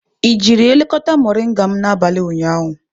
I jiri elekọta moringa m n'abalị ụnyaahụ?